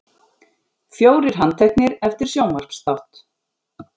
Fjórir handteknir eftir sjónvarpsþátt